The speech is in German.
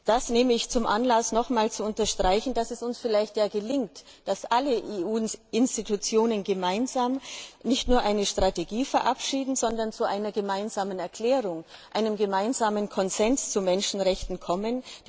Das nehme ich zum Anlass, nochmals zu unterstreichen, dass es uns ja vielleicht gelingt, dass alle EU Institutionen gemeinsam nicht nur eine Strategie verabschieden, sondern zu einer gemeinsamen Erklärung, einem gemeinsamen Konsens zu Menschenrechten kommen.